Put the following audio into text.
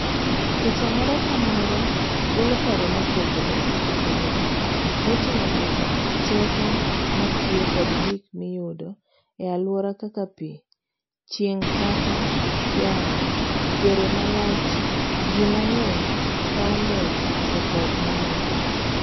Picha moro ka moro golo paro mopogre opogre moting'o nyaka teko matiyo kod gik miyudo ealuora kaka pii, chieng'kata yamo, yore malach ji mang'eny ,paw ndege to kod mamoko.